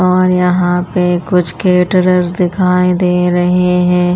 और यहाँ पे कुछ कैटरर्स दिखाई दे रहे हैं।